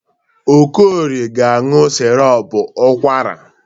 Okorie ga-aṅụ sirop ụkwara.